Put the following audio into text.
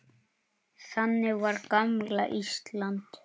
Þannig var gamla Ísland.